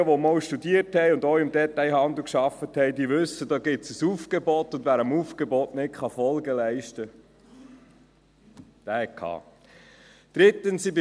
Diejenigen, die einmal studiert und auch im Detailhandel gearbeitet haben, wissen: Es gibt ein Aufgebot, und wer dem Aufgebot nicht Folge leisten kann, hat gehabt.